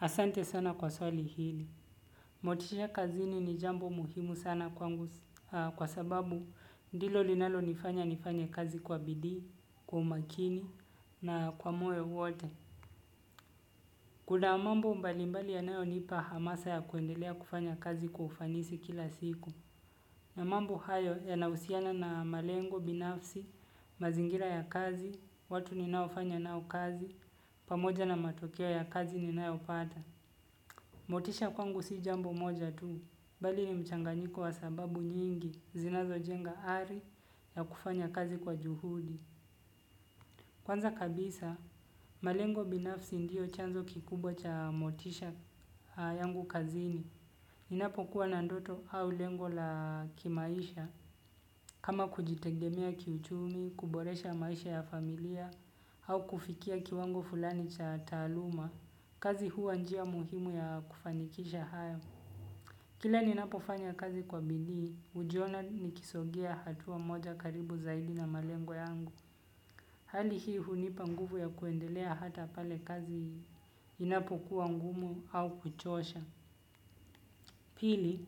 Asante sana kwa swali hili. Motisha kazini ni jambo muhimu sana kwangu kwa sababu ndilo linalo nifanya nifanye kazi kwa bidii, kwa umakini na kwa moyo wote. Kuna mambo mbalimbali yanayonipa hamasa ya kuendelea kufanya kazi kwa ufanisi kila siku. Na mambo hayo yanahusiana na malengo, binafsi, mazingira ya kazi, watu ni naofanya nao kazi, pamoja na matokeo ya kazi ni nayopata. Motisha kwangu si jambo moja tu, bali ni mchanganyiko wa sababu nyingi zinazo jenga ari ya kufanya kazi kwa juhudi. Kwanza kabisa, malengo binafsi ndio chanzo kikubwa cha motisha yangu kazini. Ninapokuwa na ndoto au lengo la kimaisha, kama kujitegemea kiuchumi, kuboresha maisha ya familia, au kufikia kiwango fulani cha taaluma, kazi huwa njia muhimu ya kufanikisha hayo. Kila ninapofanya kazi kwa bidii, hujiona ni kisogea hatua moja karibu zaidi na malengo yangu. Hali hii hunipa nguvu ya kuendelea hata pale kazi hii, inapokuwa ngumu au kuchosha. Pili,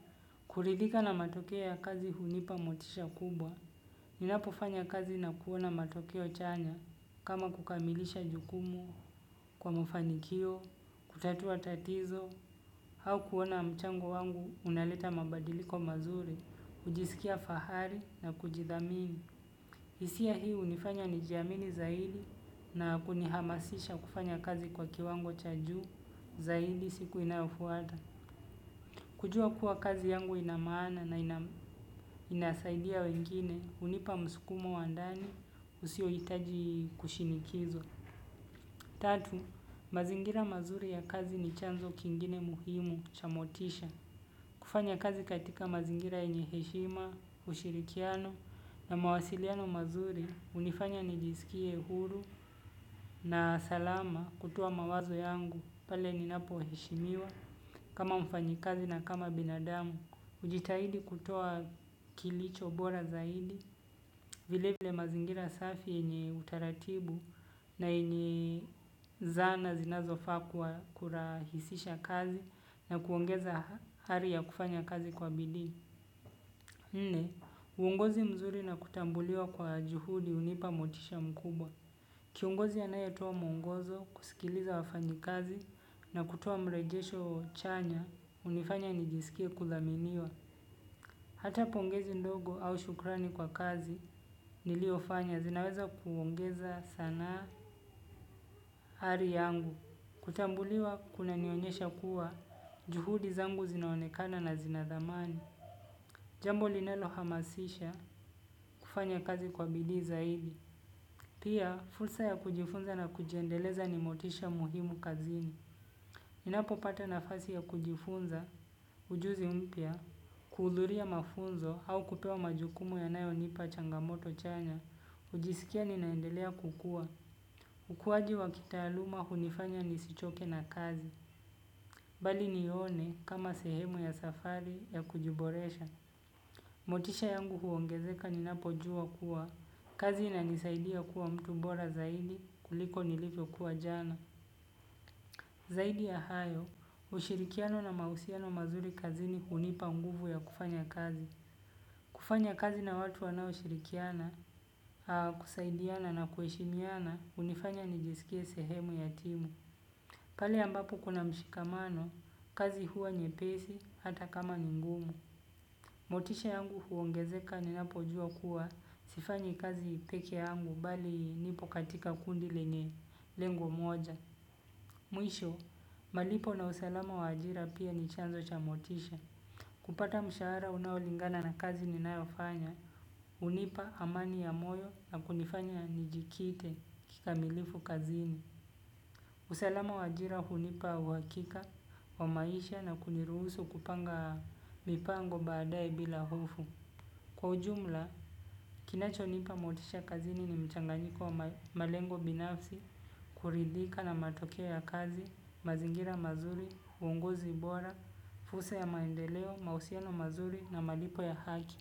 kuridika na matokeo ya kazi hunipa motisha kubwa. Ninapofanya kazi na kuona matokeo chanya, kama kukamilisha jukumu, kwa mafanikio, kutatua tatizo, au kuona mchango wangu unaleta mabadiliko mazuri, hujisikia fahari na kujidhamini. Hisia hii hunifanya ni jiamini zaidi na kunihamasisha kufanya kazi kwa kiwango cha ju zaidi siku inafuata. Kujua kuwa kazi yangu inamaana na inasaidia wengine, hunipa msukumo wa ndani usio hitaji kushinikizwa. Tatu, mazingira mazuri ya kazi ni chanzo kingine muhimu cha motisha. Kufanya kazi katika mazingira yenye heshima, ushirikiano na mawasiliano mazuri, hunifanya nijisikie huru na salama kutoa mawazo yangu pale ninapo heshimiwa kama mfanyikazi na kama binadamu. Hujitahidi kutoa kilicho bora zaidi, vile vile mazingira safi yenye utaratibu na yenye zana zinazofaa kurahisisha kazi na kuongeza ari ya kufanya kazi kwa bidii. Nne, uongozi mzuri na kutambuliwa kwa juhudi hunipa motisha mkubwa. Kiongozi anayatoa mwongozo, kusikiliza wafanyikazi na kutoa mrejesho chanya, hunifanya nijisikie kuthaminiwa. Hata pongezi ndogo au shukrani kwa kazi niliofanya zinaweza kuongeza sana ari yangu. Kutambuliwa kunanionyesha kuwa juhudi zangu zinaonekana na zinathamani. Jambo linalo hamasisha kufanya kazi kwa bidii zaidi. Pia fursa ya kujifunza na kujiendeleza ni motisha muhimu kazini. Ninapo pata nafasi ya kujifunza, ujuzi mpya, kuhudhuria mafunzo au kupewa majukumu yanayo nipa changamoto chanya, hujisikia ninaendelea kukua. Ukuaji wa kitaaluma hunifanya nisichoke na kazi, bali nione kama sehemu ya safari ya kujiboresha. Motisha yangu huongezeka ninapo jua kuwa, kazi inanisaidia kuwa mtu bora zaidi kuliko nilivyo kuwa jana. Zaidi ya hayo, ushirikiano na mahusiano mazuri kazini hunipa nguvu ya kufanya kazi. Kufanya kazi na watu wanaoshirikiana kusaidiana na kuheshimiana hunifanya nijiskie sehemu ya timu. Pahali ambapo kuna mshikamano, kazi huwa nyepesi, hata kama ni ngumu. Motisha yangu huongezeka ninapojua kuwa, sifanyi kazi peke yangu, bali nipo katika kundi lenye lengo moja. Mwisho malipo na usalama wa ajira pia ni chanzo cha motisha. Kupata mshahara unaolingana na kazi ninaofanya, hunipa amani ya moyo na kunifanya nijikite kikamilifu kazini. Usalama wa ajira hunipa uhakika wa maisha na kuniruhusu kupanga mipango baadae bila hofu. Kwa ujumla, kinacho nipa motisha kazini ni mchanganyiko wa malengo binafsi, kuridhika na matokeo ya kazi, mazingira mazuri, uongozi bora, fursa ya maendeleo, mahusiano mazuri na malipo ya haki.